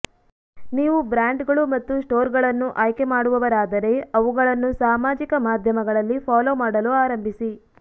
ನೀವು ಬ್ರಾಂಡ್ಗಳು ಮತ್ತು ಸ್ಟೋರ್ಗಳನ್ನು ಆಯ್ಕೆ ಮಾಡುವವರಾದರೆ ಅವುಗಳನ್ನು ಸಾಮಾಜಿಕ ಮಾಧ್ಯಮಗಳಲ್ಲಿ ಫಾಲೊ ಮಾಡಲು ಆರಂಭಿಸಿ